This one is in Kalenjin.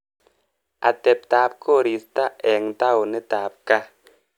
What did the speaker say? Ateptap korista eng taonitap kaa.